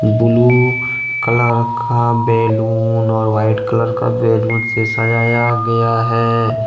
Blue colour का balloon और white colour का बैलून से सजाया गया है।